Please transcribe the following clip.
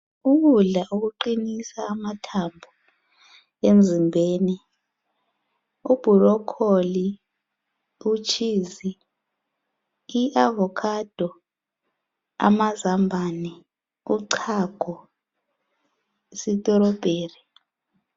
Ukudla okuqinisa amathambo emzimbeni ibhurokholo , utshizi ,i avokhado , amazambane , uchago ,isithirobheri